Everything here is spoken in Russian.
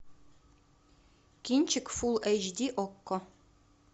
кинчик фул эйч ди окко